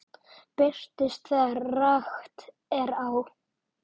Birtist þegar rakt er á.